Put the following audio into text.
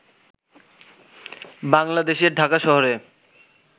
বাংলাদেশের ঢাকা শহরে